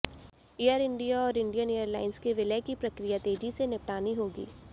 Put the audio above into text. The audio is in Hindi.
एयर इंडिया और इंडियन एअरलाइंस के विलय की प्रक्रिया तेजी से निपटानी होगी